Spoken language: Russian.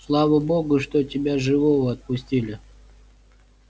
слава богу что тебя живого отпустили